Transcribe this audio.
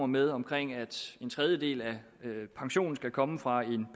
med om at en tredjedel af pensionen skal komme fra en